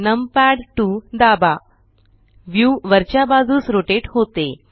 numpad 2 दाबा हे view वरच्या बाजूस रोटेट करते